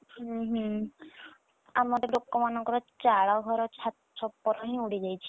ଉହୁଁ ଆମର ତ ଲୋକମାନଙ୍କର ଚାଳ ଘର ଛା~ ଛପର ହିଁ ଉଡି ଯାଇଛି